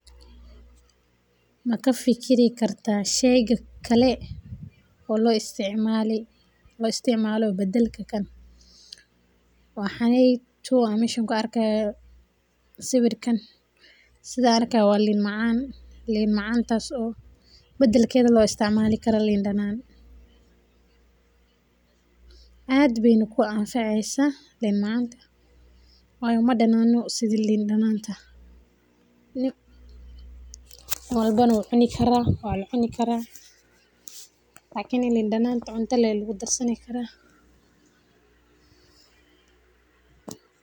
Ma ka fikiri kartaa shey kale oo looisticmalo badelka kan, waxaney tuu am mesha kuarki hayoo wa liin macan, liin macaantas oo, badelkedha looisticmalikaro liin danan, ad bayna kuanfaceysaa liin macanta wayo madanano sidhi liin dananta, nin walbana wu cunikara, walacunikaraa lakiini liin dananta cunta lee lagudarsani karaa.